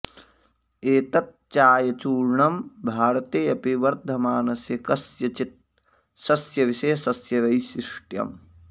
एतत् चायचूर्णं भारते अपि वर्धमानस्य कस्यचित् सस्यविशेषस्य वैशिष्ट्यम्